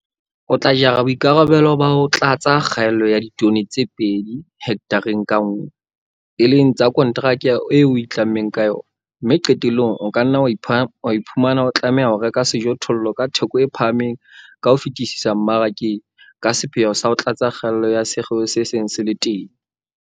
O TLA jara boikarabelo ba ho tlatsa kgaello ya ditone tsena tse 2 hekthareng ka nngwe, e leng tsa konteraka eo o itlammeng ka yona, mme qetellong o ka nna wa iphumana o tlameha ho reka sejothollo ka theko e phahameng ka ho fetisisa mmarakeng ka sepheo sa ho tlatsa kgaello ya sekgeo se seng se le teng.